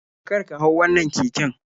Karka hau wannan keken.